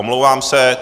Omlouvám se.